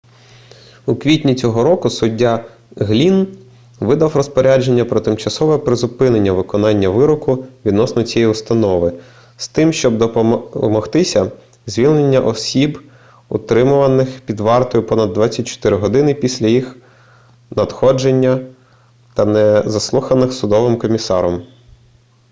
у квітні цього року суддя глінн видав розпорядження про тимчасове призупинення виконання вироку відносно цієї установи з тим щоб домогтися звільнення осіб утримуваних під вартою понад 24 годин після їх надходження та не заслуханих судовим комісаром